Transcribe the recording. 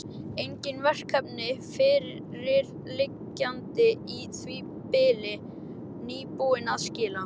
Engin verkefni fyrirliggjandi í því bili, nýbúinn að skila.